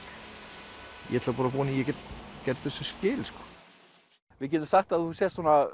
ég ætla bara að vona að ég geti gert þessu skil við getum sagt að þú sért svona